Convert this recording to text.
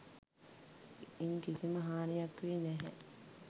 ඉන් කිසිම හානියක් වී නැහැ.